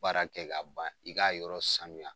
Baara kɛ ka ban i k'a yɔrɔ sanuya.